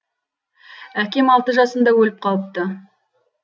әкем алты жасымда өліп қалыпты